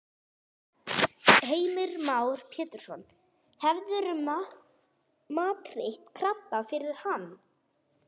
Heimir Már Pétursson: Hefurðu matreitt krabba fyrir hann?